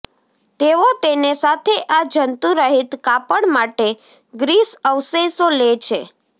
તેઓ તેને સાથે આ જંતુરહિત કાપડ માટે ગ્રીસ અવશેષો લે છે